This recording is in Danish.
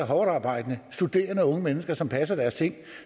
hårdtarbejdende og studerende unge mennesker som passer deres ting og